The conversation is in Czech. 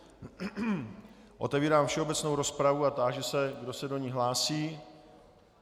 Otevírám všeobecnou rozpravu a táži se, kdo se do ní hlásí.